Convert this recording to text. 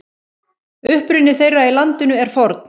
Uppruni þeirra í landinu er forn.